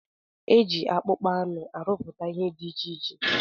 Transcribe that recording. Eji akpụkpọ anụ arụpụta ihe dị iche iche.